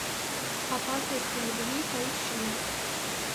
опасности любви поищи